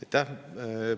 Aitäh!